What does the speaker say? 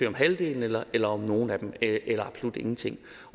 om halvdelen eller eller om nogle af dem eller absolut ingenting